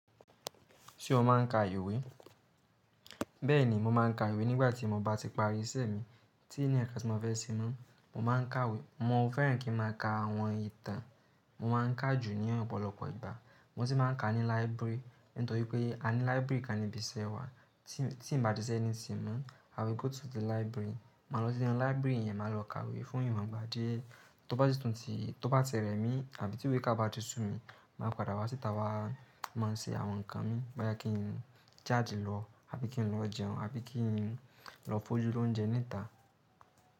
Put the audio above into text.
Ṣé o máa ń ka ìwé? Bẹ́ẹ̀ni, mo máa ń ka ìwé nígbà tí mo bá ti parí iṣẹ́ mi tí n ni nkan tí mo fẹ́ ṣe mọ. Mo máa ń ka ìwé, mo fẹ́ràn kí n máa ka àwọn ìtàn. Mo máa ń kà jù ní ọ̀pọ̀lọpọ̀ ìgbà. Mo sì máa ń ka ní library, nítorí pé a ní library kan níbi iṣẹ́ wa. Tí n ba ti se anything mọ, I will go to the library. Mà lọ sí inú library yẹn, mà lọ ka ìwé fún ìwọ̀n gbà díẹ́. Tó bá ti tún ti, tó bá ti rẹ̀ mi àbí tí ìwé kiká bá ti sú mi, màá padà wá síta wá, máa ṣe àwọn nǹkan mi. Bóyá kí n jáde lọ àbí kí n lọ jẹun, àbí kí n lọ fójú lóúnjẹ níta.